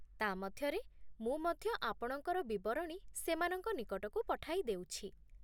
ତା' ମଧ୍ୟରେ, ମୁଁ ମଧ୍ୟ ଆପଣଙ୍କର ବିବରଣୀ ସେମାନଙ୍କ ନିକଟକୁ ପଠାଇଦେଉଛି।